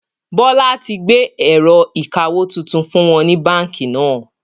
Bọlá tí gbé ẹ̀rọ ìkawó tuntun fún wọn ní báńkì náà